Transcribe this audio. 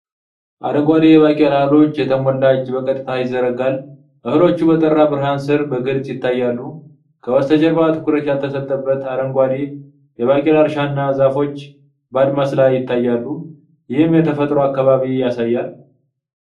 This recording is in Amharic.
አረንጓዴ የባቄላ እህሎች የተሞላ እጅ በቀጥታ ይዘረጋል። እህሎቹ በጠራ ብርሃን ስር በግልጽ ይታያሉ። ከበስተጀርባ፣ ትኩረት ያልተሰጠበት አረንጓዴ የባቄላ እርሻ እና ዛፎች በአድማስ ላይ ይታያሉ፣ ይህም የተፈጥሮ አካባቢ ያሳያል።